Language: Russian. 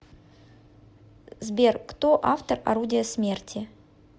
сбер кто автор орудия смерти